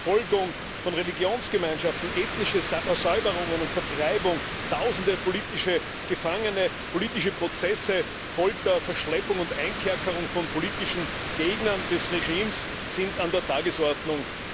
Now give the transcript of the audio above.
Die Verfolgung von Religionsgemeinschaften, ethnische Säuberungen und Vertreibung, Tausende politische Gefangene, politische Prozesse, Folter, Verschleppung und Einkerkerung von politischen Gegnern des Regimes sind an der Tagesordnung.